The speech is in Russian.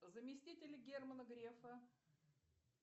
заместитель германа грефа